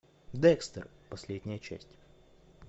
декстер последняя часть